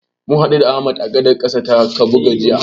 Mun haɗu da Ahmad a gadar ƙasa ta Kabuga jiya.